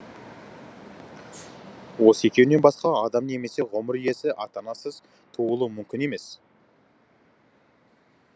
осы екеуінен басқа адам немесе ғұмыр иесі ата анасыз туылуы мүмкін емес